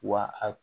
Wa a